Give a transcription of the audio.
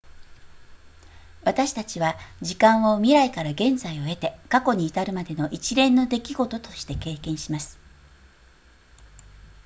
私たちは時間を未来から現在を経て過去に至るまでの一連の出来事として経験します